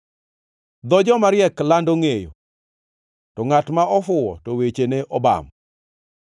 Dho jomariek lando ngʼeyo, to ngʼat mofuwo to wechene obam.